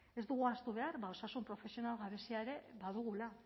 ez dugu ahaztu behar osasun profesional gabezia ere badugula